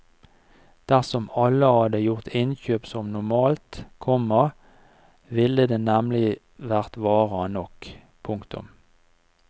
Dersom alle hadde gjort innkjøp som normalt, komma ville det nemlig vært varer nok. punktum